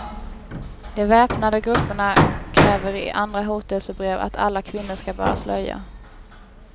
De väpnade grupperna kräver i andra hotelsebrev att alla kvinnor skall bära slöja.